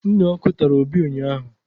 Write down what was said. Mnụ ọkụ tara Obi ụnyahụ